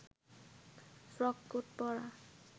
frock coat পরা